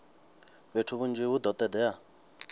fhethu hunzhi hu do todea